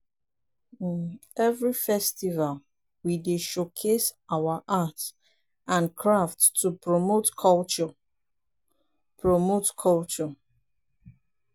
every festival we dey showcase our art and crafts to promote culture. promote culture.